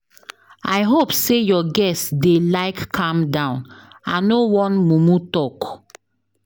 I hope say your guests dey like calm down, I no wan mumu talk.